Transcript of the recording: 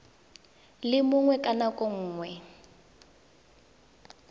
le mongwe ka nako nngwe